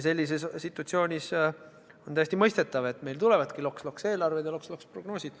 Sellises situatsioonis on täiesti mõistetav, et meil tulevadki loks-loks-eelarved ja loks-loks-prognoosid.